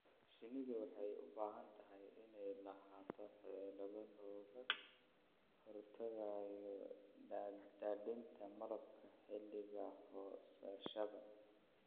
Shinnidu waxay u baahan tahay inay lahaato xeelado looga hortagayo daadinta malabka xilliga goosashada.